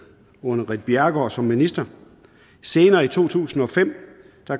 under ritt bjerregaard som minister senere i to tusind og fem